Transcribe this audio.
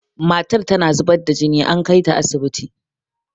matar tana zubar da jini an kaita asibiti